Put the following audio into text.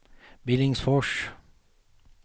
Billingsfors